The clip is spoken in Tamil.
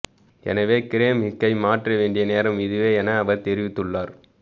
எனவே கிரேம் ஹிக்கை மாற்ற வேண்டிய நேரம் இதுவே என அவர் தெரிவித்துள்ளார்